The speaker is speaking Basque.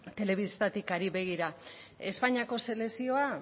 telebistatik ari begira espainiako selekzioa